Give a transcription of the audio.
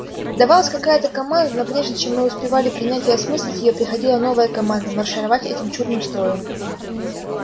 давалась какая-то команда но прежде чем мы успевали принять и осмыслить её приходила новая команда маршировать этим чудным строем